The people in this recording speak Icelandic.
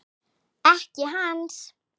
Ekki hans.